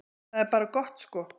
Það er bara gott sko.